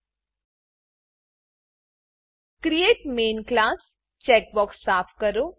create main class create main class checkbox સાફ કરો